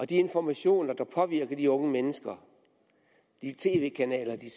de informationer der påvirker de unge mennesker de tv kanaler de